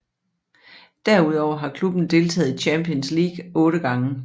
Derudover har klubben deltaget i Champions League otte gange